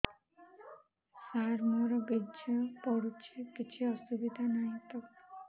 ସାର ମୋର ବୀର୍ଯ୍ୟ ପଡୁଛି କିଛି ଅସୁବିଧା ନାହିଁ ତ